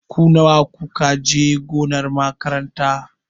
Ku nawa ku ka je gonar makaranta?